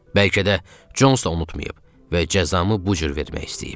Bəlkə də Cons da unutmayıb və cəzamı bu cür vermək istəyib.